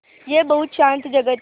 यह बहुत शान्त जगह थी